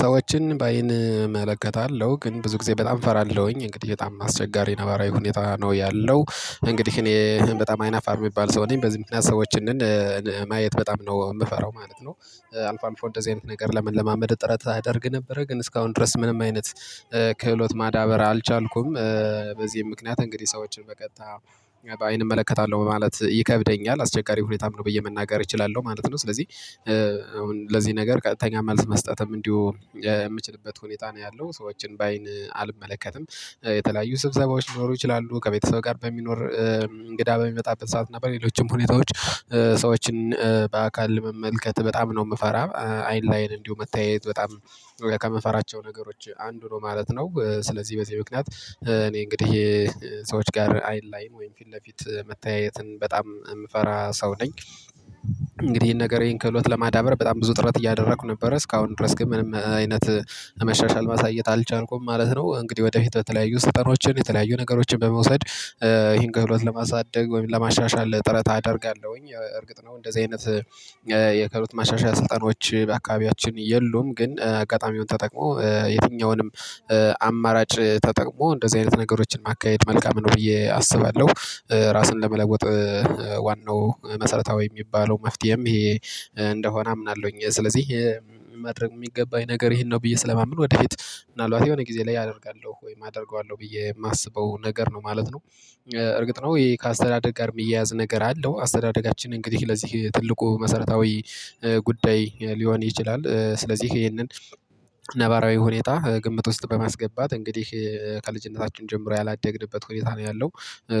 ሰዎችን ባይን እመለከታለሁ ግን ብዙ ጊዜ በጣም እፈራለሁኝ እንግዲህ በጣም አስቸጋሪ ነባራዊ ሁኔታ ነው ያለው። እንግዲህ እኔ በጣም አይናፋር የሚባል ሰው ነኝ በዚህ ምክንያት ሰዎችን ማየት በጣም ነው የምፈራው ማለት ነው። አልፎ አልፎ እንደዚህ አይነት ነገር ለመለማመድ ጥረት አደርግ ነበረ ግን እስካሁን ድረስ ምንም አይነት ክህሎት ማዳበር አልቻልኩም። በዚህም ምክንያት እንግዲህ ሰዎችን በቀጥታ አይን እመለከታለሁ ማለት ይከብደኛል አስቸጋሪ ሁኔታም ነው ብየ መናገር እችላለሁ ማለት ነው። ስለዚህ አሁን ለዚህ ነገር ቀጥተኛ መልስ መስጠትም እንዲሁ የምችልበት ሁኔታ ነው ያለው። ሰዎችን በአይን አልመለከትም የተለያዩ ስብሰባዎች ሊኖሩ ይችላሉ ከቤተሰብ ጋር በሚኖር እንግዳ በሚመጣበት ሰዓት እና በሌሎችም ሁኔታዎች። ሰዎችን በአካል ለመመልከት በጣም ነው የምፈራ አይን ለአይን እንዲሁ መታየት በጣም ሩቅ ከምንፈራቸው ነገሮች አንዱ ነው ማለት ነው። ስለዚህ በዚህ ምክንያት እኔ እንግዲህ ሰዎች ጋር አይን ላይን ወይም ፊት ለፊት መተያየትን በጣም የምፈራ ሰው ነኝ። እንግዲህ ይሄን ነገር ይሄን ከህሎት ለማዳበር በጣም ብዙ ጥረት እያደረኩ ነበር እስካሁን ድረስ ግን ምንም አይነት ለመሻሻል ማሳየት አልቻልኩም ማለት ነው። እንግዲህ ወደፊት በተለያዩ ስልጠናዎችን የተለያዩ ነገሮችን በመውሰድ ይሄን ከህሎት ለማሳደግ ወይም ለማሻሻል ጥረት አደርጋለሁኝ። እርግጥ ነው እንደዚህ አይነት የክህሎት መሻሻያ ስልጠናዎች በአካባቢያችን የሉም ግን አጋጣሚውን ተጠቅሞ የትኛውንም አማራጭ ተጠቅሞ እንደዚህ አይነት ነገሮችን ማካሄድ መልካም ነው ብዬ አስባለሁ። ራስን ለመለወጥ ዋናው መሰረታዊ የሚባለው መፍትሄም ይሄ እንደሆነ አምናለሁኝ። ስለዚህ ማድረግ የሚገባኝ ነገር ይሄን ነው ብዬ ስለማምን ወደ እህት ምናልባት የሆነ ጊዜ ላይ አደርጋለሁ ወይ አደርገዋለሁ ብዬ የማስበው ነገር ነው ማለት ነው። እርግጥ ነው ይሄ ከአስተዳደግ ጋር የሚያያዝ ነገር አለው አስተዳደጋችን እንግዲህ ለዚህ ትልቁ መሰረታዊ ጉዳይ ሊሆን ይችላል። ስለዚህ ይሄንን ነባራዊ ሁኔታ ግምት ውስጥ በማስገባት እንግዲህ ከልጅነታችን ጀምሮ ያላደግንበት ሁኔታ ነው ያለው።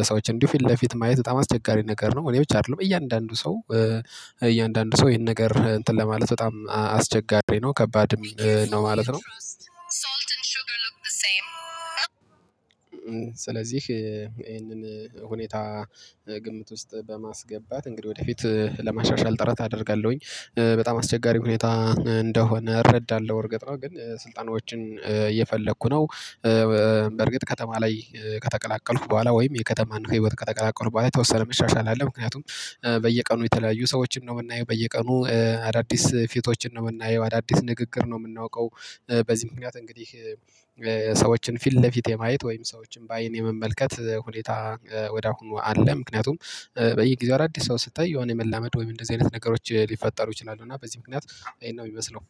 ሰዎችን ፊት ለፊት ማየት በጣም አስቸጋሪ ነገር ነው እኔ ብቻ አይደለም እያንዳንዱ ሰው እያንዳንዱ ሰው ይሄን ነገር እንትን ለማለት በጣም አስቸጋሪ ነው ከባድ ነው ማለት ነው። ስለዚህ ይሄንን ሁኔታ ግምት ውስጥ በማስገባት እንግዲህ ወደፊት ለማሻሻል ጥረት አደርጋለሁኝ። በጣም አስቸጋሪ ሁኔታ እንደሆነ እረዳለሁ እርግጥ ነው ግን ስልጠናዎችን እየፈለኩ ነው። በርግጥ ከተማ ላይ ከተቀላቀልሁ በኋላ ወይም የከተማን የህይወት ከተቀላቀሉ በኋላ ተወሰነ መሻሻል አለ ምክንያቱም በየቀኑ የተለያዩ ሰዎችን ነው የምናየው በየቀኑ አዳዲስ ፊቶችን ነው የምናየው አዳዲስ ንግግር ነው የምናውቀው። በዚህ ምክንያት እንግዲህ ሰዎችን ፊት ለፊት የማየት ወይም ሰዎችን በአይን የመመልከት ሁኔታ ወደ አሁኑ አለ። ምክንያቱም በየጊዜው አዳዲስ ሰው ስታይ የሆነ መላመድ ወይም እንደዚህ አይነት ነገሮች ሊፈጠሩ ይችላሉ እና በዚህ ምክንያት ይሄን ነው የሚመስለው